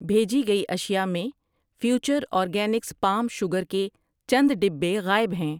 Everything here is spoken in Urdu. بھیجی گئی اشیاء میں فیوچر آرگینکس پام شوگر کے چند ڈبے غائب ہیں۔